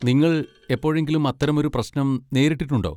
നിങ്ങൾ എപ്പോഴെങ്കിലും അത്തരമൊരു പ്രശ്നം നേരിട്ടിട്ടുണ്ടോ?